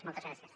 moltes gràcies